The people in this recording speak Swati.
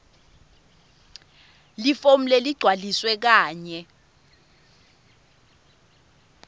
lifomu leligcwalisiwe kanye